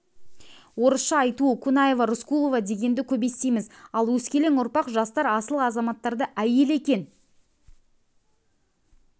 орысша айтуы кунаева рыскулова дегенді көп естиіміз ал өскелең ұрпақ жастар асыл азаматтарды әйел екен